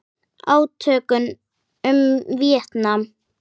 Átökin um Víetnam